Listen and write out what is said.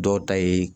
Dɔw ta ye